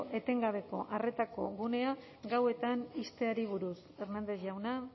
etengabeko arretako gunea gauetan ixteari buruz hernández jauna